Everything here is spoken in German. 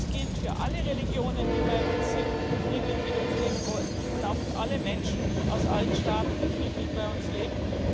Das gilt für alle Religionen, die bei uns sind und friedlich mit uns leben wollen, und auch für alle Menschen aus allen Staaten, die friedlich bei uns leben.